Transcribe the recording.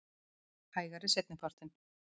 Hægari seinni partinn